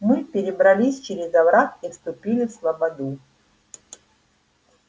мы перебрались через овраг и вступили в слободу